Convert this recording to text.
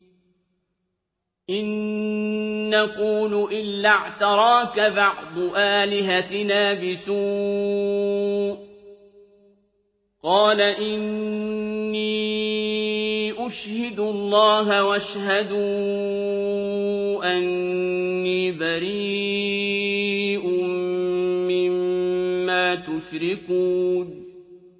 إِن نَّقُولُ إِلَّا اعْتَرَاكَ بَعْضُ آلِهَتِنَا بِسُوءٍ ۗ قَالَ إِنِّي أُشْهِدُ اللَّهَ وَاشْهَدُوا أَنِّي بَرِيءٌ مِّمَّا تُشْرِكُونَ